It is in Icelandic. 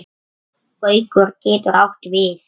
Gaukur getur átt við